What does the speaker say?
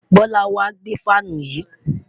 Bola n wa gbe fan yii